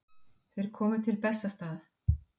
Þeir komu til Bessastaða.